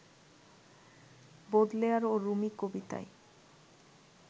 Baudelaire ও Rumi কবিতায়